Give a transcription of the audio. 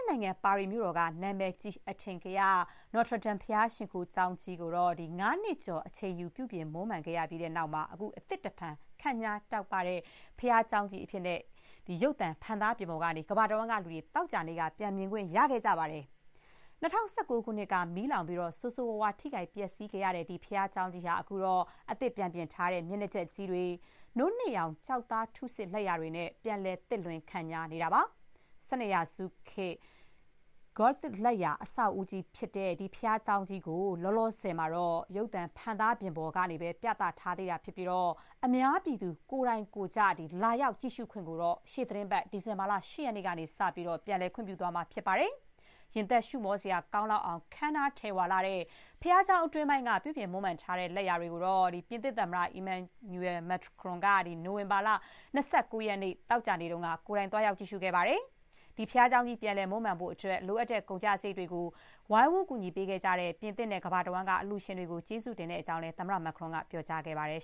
စ်နိုင်ငံ ပါရီမြို့တော်က နာမည်ကြီး အထင်ကရ Notre Dame ဘုရားရှိခိုးကျောင်းကြီးကို ၅ နှစ်ကျော် အချိန်ယူ ပြုပြင် မွမ်းမံခဲ့ပြီးတဲ့နောက် အသစ်တဖန် ခန့်ညားတောက်ပနေတဲ့ ဘုရားကျောင်းကြီးကို ရုပ်သံ ဖန်သားပြင်ပေါ် ကနေ ကမ္ဘာတဝန်းကလူတွေ သောကြာနေ့က ပြန်မြင်ခွင့်ရခဲ့ပါတယ်။ ၂၀၁၉ ခုနှစ်က မီးလောင်ပြီး ဆိုးဆိုးရွားရွား ထိခိုက် ပျက်ဆီးခဲ့ရတဲ့ ဒီဘုရားကျောင်းကြီးဟာ အခုတော့ အသစ် ပြန်ပြင်ထားတဲ့ မျက်နှာကျက်ကြီးတွေ၊ နို့နှစ်ရောင် ကျောက်သားထုဆစ် လက်ရာတွေနဲ့ ပြန်လည် သစ်လွင် ခန့်ညားနေတာပါ။ ၁၂ ရာစုနှစ်ခေတ် Gothic လက်ရာ အဆောက်အဦးကြီးဖြစ်တဲ့ ဒီ ဘုရားကျောင်းကြီးကို လောလောဆယ်မှာတော့ ရုပ်သံ ဖန်သားပြင်ပေါ်ကနေပဲ ပြသထားသေးပြီး အများပြည်သူ ကိုယ်တိုင်ကိုယ်ကျ လာရောက် ကြည့်ရှုခွင့်ကိုတော့ ရှေ့သီတင်းပတ် ဒီဇင်ဘာလ ၈ ရက်နေ့ကစပြီး ပြန်လည် ခွင့်ပြုပေးသွားမှာ ဖြစ်ပါတယ်။ ရင်သပ်ရှုမောစရာ ကောင်းလောက်အောင် ခမ်းနား ထည်ဝလှတဲ့ ဘုရားကျောင်း အတွင်းပိုင်းက ပြုပြုမွမ်းမံထားတဲ့ လက်ရာတွေကို ပြင်သစ် သမ္မတ Emmanuel Macron ကတော့ နိုဝင်ဘာ ၂၉ ရက် သောကြာနေ့ကတော့ ကိုယ်တိုင် သွားရောက် ကြည့်ရှုခဲ့ပါတယ်။ ဒီဘုရားကျောင်းကြီး ပြန်လည် မွမ်းမံဖို့အတွက် လိုအပ်တဲ့ ကုန်ကျစရိတ်တွေကို ဝိုင်းဝန်း ကူညီခဲ့ကြတဲ့ ပြင်သစ်နဲ့ ကမ္ဘာတဝန်းက အလှူရှင်တွေကို ကျေးဇူးတင်ကြောင်းလည်း သမ္မတက ပြောကြားခဲ့ပါတယ်